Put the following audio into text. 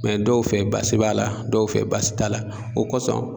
dɔw fɛ baasi b'a la dɔw fɛ baasi t'a la o kɔsɔn